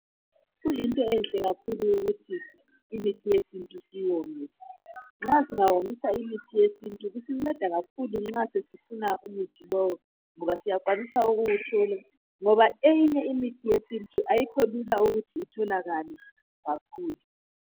Kuyinto enhle kakhulu ukuthi imithi yesintu siyomise nxa singawomisa imithi yesintu kusinceda kakhulu nxa sesifuna umuthi lowo ngoba siyakwanisa ukuwuthola ngoba eyinye imithi yesintu ayikho lula ukuthi itholakale kakhulu.